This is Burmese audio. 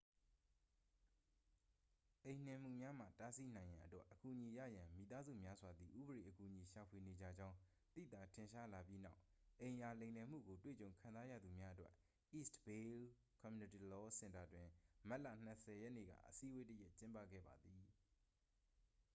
အိမ်နှင်မှုများမှ တားဆီးနိုင်ရန်အတွက် အကူအညီရရန် မိသားစုများစွာသည် ဥပဒေအကူအညီရှာဖွေနေကြကြောင်း သိသာထင်ရှားလာပြီးနောက် အိမ်ယာလိမ်လည်မှုကိုတွေ့ကြုံခံစားရသူများအတွက် east bay community law စင်တာတွင် မတ်လ 20 ရက်နေ့က အစည်းအဝေးတစ်ရပ်ကျင်းပခဲ့ပါသည်